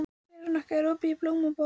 Veronika, er opið í Blómaborg?